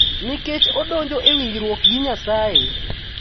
Nikech odonjo e winjruok gi Nyasaye.